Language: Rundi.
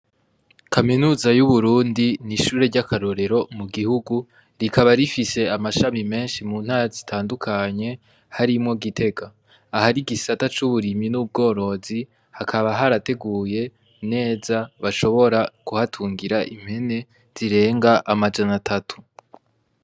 Kaminuza y'UBURUNDI n'ishure ryakarorero mu gihugu rikaba rifise amashami menshi mu ntara zitandukanye harimwo Gitega, ahari igisata c'uburimyi n'ubworozi hakaba harateguye neza bashobora kuhatungira impene zirenga majanatatu.